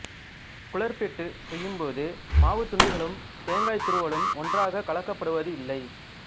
குழற்பிட்டுச் செய்யும்போது மாவுத் துண்டுகளும் தேங்காய்த் துருவலும் ஒன்றாகக் கலக்கப்படுவது இல்லை